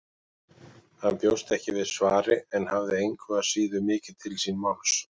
Hann bjóst ekki við svari en hafði engu að síður mikið til síns máls.